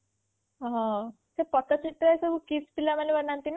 ହଁ ସେ ପଟଚିତ୍ର ସବୁ KIIT ପିଲାମାନେ ବନାନ୍ତି ନା